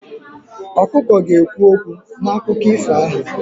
Ọkụkọ ga-ekwu okwu n'akụkọ ifo ahụ.